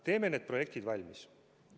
Teeme need projektid valmis.